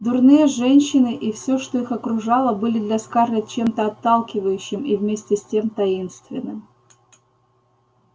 дурные женщины и все что их окружало были для скарлетт чем-то отталкивающим и вместе с тем таинственным